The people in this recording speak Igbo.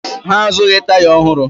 Ha azụghị taya ọhụrụ